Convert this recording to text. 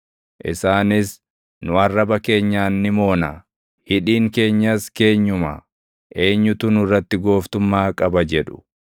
isaanis, “Nu arraba keenyaan ni moona; hidhiin keenyas keenyuma; eenyutu nurratti gooftummaa qaba?” jedhu.